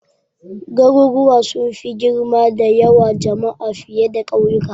Garuruwa sun fi girma da yawan jama'a fiye da kauyuka.